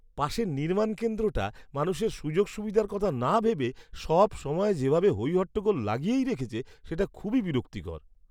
পাশের নির্মাণ কেন্দ্রটা মানুষের সুযোগ সুবিধার কথা না ভেবে সবসময় যেভাবে হইহট্টগোল লাগিয়েই রেখেছে সেটা খুবই বিরক্তিকর।